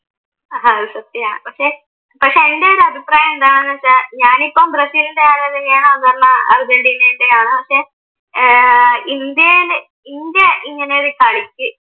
അഹ് സത്യമാണ് പക്ഷെ പക്ഷെ എൻറെയൊരു അഭിപ്രായം എന്താണെന്നു വച്ചാൽ ഞാനിപ്പോ ബ്രസീലിൻറെ ആരാധികയാണ് അതുമല്ല അർജൻറ്റീനയുടെയും ആണ് പക്ഷെ ഏർ ഇന്ത്യ ഇങ്ങനെയൊരു കളിക്ക്